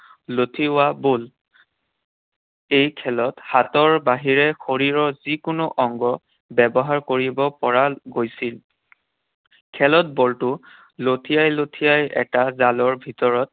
লঠিওৱা ball. এই খেলত হাতৰ বাহিৰে শৰীৰৰ যিকোনো অংগ ব্যৱহাৰ কৰিব পৰা গৈছিল। খেলত বলটো লঠিয়াই লঠিয়াই এটা জালৰ ভিতৰত